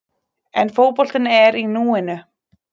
En fótboltinn er í núinu.